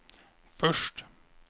först